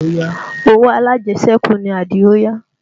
Owó alájẹsẹ́kù ni Adio yá